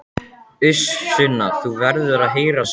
Uss Sunna, þú verður að heyra söguna!